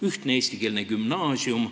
Ühtne eestikeelne gümnaasium.